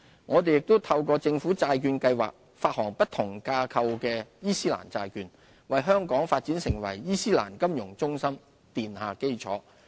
我們又透過政府債券計劃發行不同架構的伊斯蘭債券，為香港發展成為伊斯蘭金融中心奠下基礎。